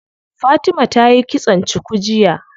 Fatima tayi kitson cuku jiya.